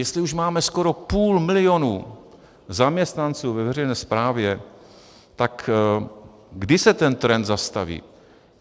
Jestli už máme skoro půl milionu zaměstnanců ve veřejné správě, tak kdy se ten trend zastaví?